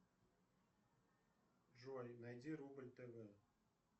джой найди рубль тв